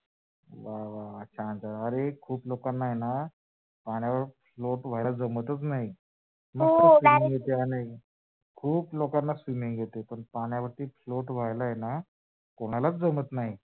वा वा वा, छान छान! अरे खूप लोकांना आहे ना पाण्यावर float व्हायला जमतच हो नाही खूप लोकांना swimming येते पण पाण्यावरती float व्हायला कोणालाच जमत नाही.